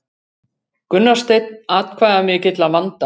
Gunnar Steinn atkvæðamikill að vanda